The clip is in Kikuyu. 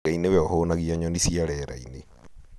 Ngai nĩwe ũhũnagia nyoni cia rĩera-inĩ